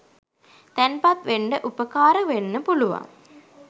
තැන්පත් වෙන්න උපකාර වෙන්න පුළුවන්.